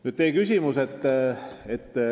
Nüüd teie küsimusest.